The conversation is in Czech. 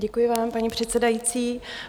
Děkuji vám, paní předsedající.